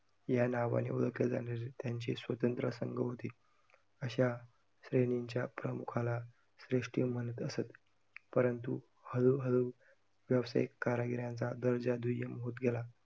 यानावाने ओळखल्या जाणाऱ्या त्यांचे स्वतंत्र संघ होते, अश्या श्रेणीच्या प्रमुखाला श्रेष्ठी म्हणत असत, परंतु हळू हळू व्यावसायिक कारागीर यांचा दर्जा दुय्यम होत गेला.